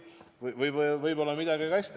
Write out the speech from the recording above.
Või võib-olla on midagi ka hästi.